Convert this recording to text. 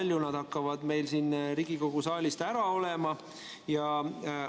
Kui palju nad hakkavad meil siin Riigikogu saalist ära olema?